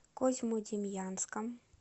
козьмодемьянском